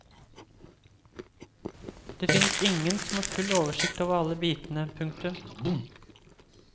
Det fins ingen som har full oversikt over alle bitene. punktum